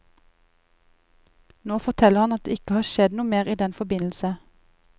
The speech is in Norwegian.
Nå forteller han at det ikke har skjedd noe mer i den forbindelse.